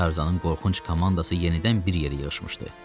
Tarzanın qorxunc komandası yenidən bir yerə yığışmışdı.